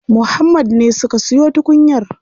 Muhammad ne suka siyo tukunyar.